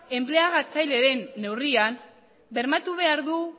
enpleagatzaile den neurrian bermatu behar du